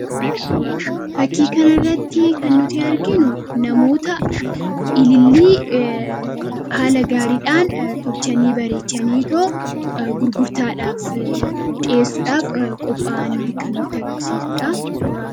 fakkiikan irratti kan nuti arginu namoota ilillii haala gaariidhaan tolchanii bareechanii too gurgurtaadhaaf dhi'eessuudhaaf qophaa'anne kan nuti agarsiisuudha